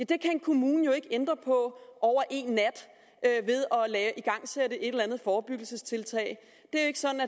det kan en kommune jo ikke ændre på over en nat ved at igangsætte et eller andet forebyggelsestiltag det er jo ikke sådan